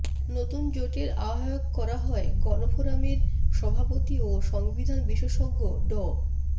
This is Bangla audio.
নতুন জোটের আহ্বায়ক করা হয় গণফোরামের সভাপতি ও সংবিধান বিশেষজ্ঞ ড